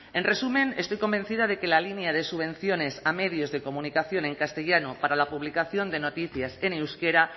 en resumen estoy convencida de que la línea de subvenciones a medios de comunicación en castellano para la publicación de noticias en euskera